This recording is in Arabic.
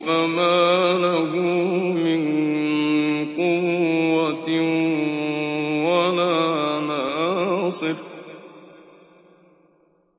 فَمَا لَهُ مِن قُوَّةٍ وَلَا نَاصِرٍ